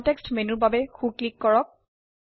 context মেনুৰ বাবে সো ক্লিক কৰক